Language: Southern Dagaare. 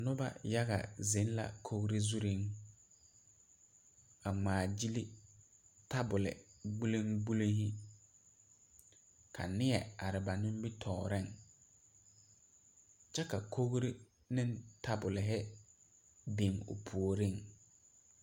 Nuba yaga zeng la kɔgri zuring a ngmaa gyili tabol gbolin gbolin hi ka neɛ aryba nimitoɔring kye ka kɔgree ne tabol hi bing ɔ pouring.